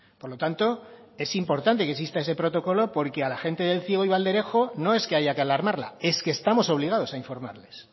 por lo tanto es importante que exista ese protocolo porque a la gente de el ciego y valderejo no es que haya que alarmarla es que estamos obligados a informarles